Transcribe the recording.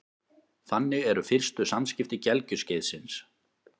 Þannig eru fyrstu samskipti gelgjuskeiðsins.